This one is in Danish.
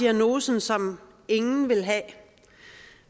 diagnosen som ingen vil have